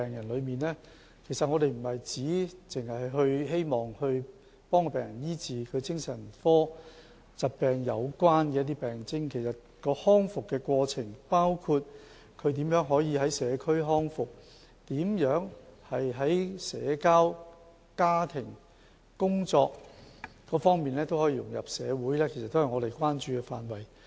我們不僅醫治病人的精神科疾病病徵，還關注他們的康復過程，包括他們如何在社區康復，如何在社交、家庭及工作等方面都可以融入社會，都是我們關注的範圍。